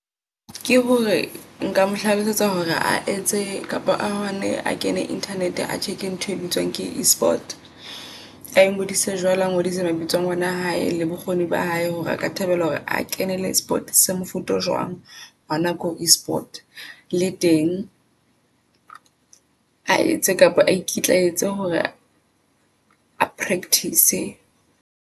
Ke hore nka mo hlalosetsa hore a etse kapa ahone a kene internet a check-entho e bitswang ke e-sport. Ai ngodisa jwalo a ngodise mabitsong ngwana hae le bokgoni ba hae hore a ka thabela hore a kenele Sport se mofuta o jwang. Hona ko e-sport le teng a etse kapa a ikitlaetse hore a practice-e.